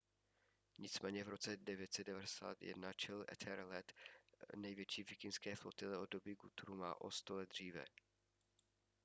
nicméně v roce 991 čelil ethelred největší vikingské flotile od doby guthruma o sto let dříve